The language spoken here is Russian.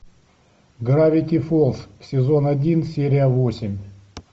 гравити фолз сезон один серия восемь